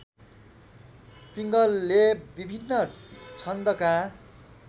पिङ्गलले विभिन्न छन्दका